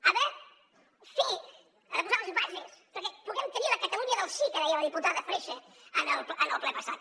ha de fer ha de posar les bases perquè puguem tenir la catalunya del sí que deia la diputada freixa en el ple passat